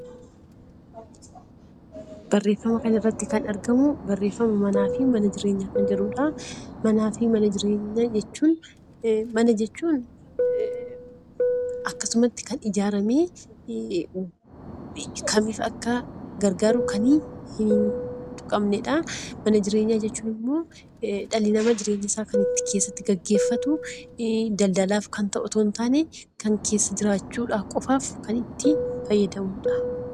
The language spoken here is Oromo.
Mana jechuun akkasumatti kan ijaaramee maaliif Akka gargaaru kan hin tuqamnedha. Mana jireenyaa jechuun immoo dhalli namaa jireenya isaa keessatti kan gaggeeffatu daldalaaf kan ta'u osoo hin taane kan keessa jiraachuu qofaaf fayyadudha